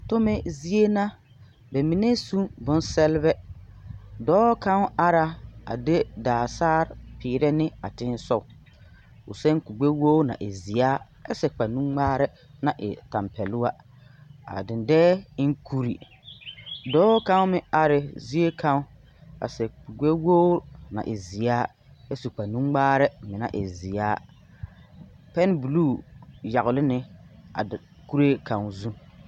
Tome zie na, ba mine su ne bonsԑlebԑ. Dͻͻ kaŋa are la a de daa saare a peerԑ ne a teŋԑ sogͻ. O seԑ kuri gbԑwori naŋ e seԑ ԑ su kpare nuŋmaarԑ naŋ e tampԑloŋ. A dendͻԑ e na kuri. Dͻͻ kaŋa meŋ are la zie kaŋa, a seԑ kurigbԑwogiri naŋ e zeԑ ԑ su kpare nuŋmaarԑ meŋ naŋ e zeԑ. Pԑmbuluu yagele na a de kuree kaŋa zu.